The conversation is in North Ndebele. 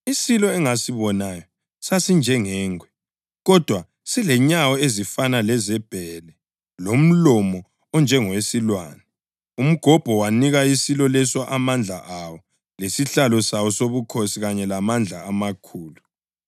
Isilo engasibonayo sasinjengengwe, kodwa silenyawo ezifana lezebhele lomlomo onjengowesilwane. Umgobho wanika isilo leso amandla awo lesihlalo sawo sobukhosi kanye lamandla amakhulu.